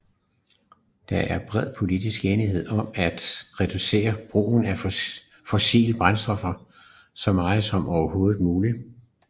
Der er bred politisk enighed om at reducere brugen af fossile brændstoffer så meget som overhovedet muligt